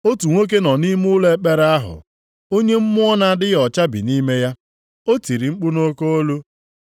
Otu nwoke nọ nʼime ụlọ ekpere ahụ, onye mmụọ na-adịghị ọcha bi nʼime ya. O tiri mkpu nʼoke olu,